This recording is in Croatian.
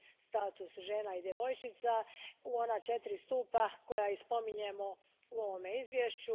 status žena i djevojčica u ona četiri stupa koja i spominjemo u ovom izvješću.